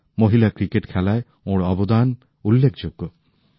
মহিলা ক্রিকেট খেলায় ওঁর অবদান উল্লেখযোগ্য